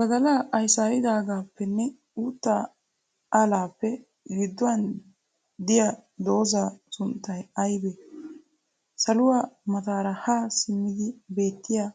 Badalaa ayisaaridaagaappenne uuttaa alaappe gidduwan diya dozzaa sunttay ayibee? Saluwaa mataara haa simmidi beettiya